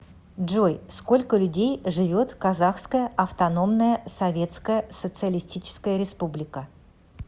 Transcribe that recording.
джой сколько людей живет в казахская автономная советская социалистическая республика